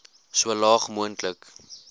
so laag moontlik